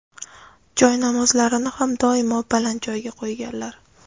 joynamozlarini ham doimo baland joyga qo‘yganlar.